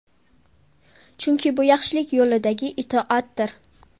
Chunki bu yaxshilik yo‘lidagi itoatdir.